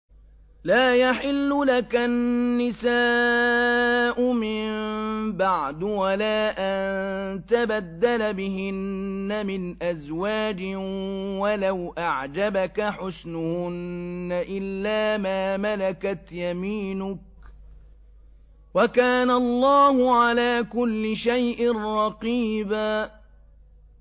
لَّا يَحِلُّ لَكَ النِّسَاءُ مِن بَعْدُ وَلَا أَن تَبَدَّلَ بِهِنَّ مِنْ أَزْوَاجٍ وَلَوْ أَعْجَبَكَ حُسْنُهُنَّ إِلَّا مَا مَلَكَتْ يَمِينُكَ ۗ وَكَانَ اللَّهُ عَلَىٰ كُلِّ شَيْءٍ رَّقِيبًا